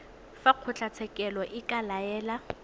fa kgotlatshekelo e ka laela